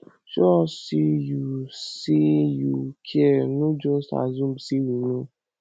show us say you say you care no just assume say we know